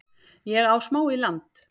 Ég á smá í land